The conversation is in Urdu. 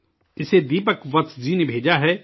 اسے دیپک وتس جی نے بھیجا ہے